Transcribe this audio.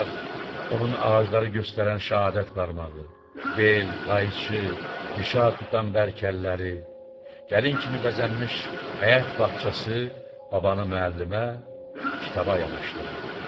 Ancaq onun ağacları göstərən şəhadət barmağı, bel, qayçı, mişar tutan bərk əlləri, gəlin kimi bəzənmiş həyət bağçası babanı müəllimə kitaba yaxınlaşdırırdı.